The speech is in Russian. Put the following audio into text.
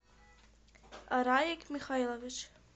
раик михаилович